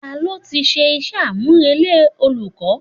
Ta ló ti ṣe iṣẹ́ àmùrè lé olùkọ́?